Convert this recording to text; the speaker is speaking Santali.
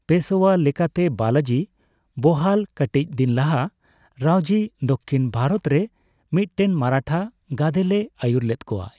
ᱯᱮᱥᱳᱭᱟ ᱞᱮᱠᱟᱛᱮ ᱵᱟᱞᱟᱡᱤ ᱵᱚᱦᱟᱞ ᱠᱟᱴᱤᱪ ᱫᱤᱱ ᱞᱟᱦᱟ, ᱨᱟᱳᱡᱤ ᱫᱚᱠᱷᱤᱱ ᱵᱷᱟᱨᱚᱛᱨᱮ ᱢᱤᱫᱴᱮᱱ ᱢᱟᱨᱟᱴᱷᱟ ᱜᱟᱫᱮᱞᱮ ᱟᱭᱩᱨ ᱞᱮᱫ ᱠᱚᱣᱟᱭ᱾